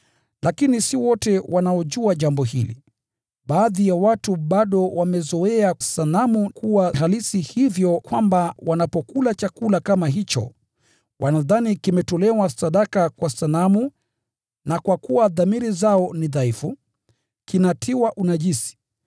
Lakini si wote wanaojua jambo hili. Baadhi ya watu bado wamezoea sanamu kuwa halisi hivi kwamba wanapokula chakula kama hicho wanadhani kimetolewa sadaka kwa sanamu na kwa kuwa dhamiri zao ni dhaifu, dhamiri yao inanajisika.